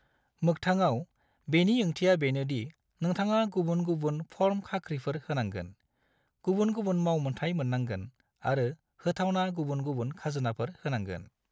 मोक्थांआव, बेनि ओंथिआ बेनो दि नोंथाङा गुबुन गुबुन फर्म खाख्रिफोर होनांगोन, गुबुन गुबुन मावमोनथाइ मोननांगोन, आरो होथावना गुबुन गुबुन खाजोनाफोर होनांगोन।